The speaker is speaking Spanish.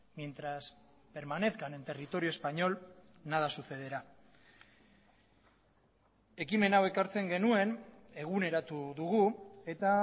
mientras permanezcan en territorio español nada sucederá ekimen hau ekartzen genuen eguneratu dugu eta